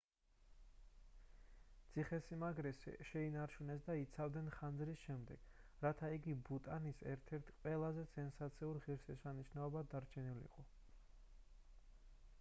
ციხე-სიმაგრე შეინარჩუნეს და იცავდნენ ხანძრის შემდეგ რათა იგი ბუტანის ერთ-ერთ ყველაზე სენსაციურ ღირშესანიშნაობად დარჩენილიყო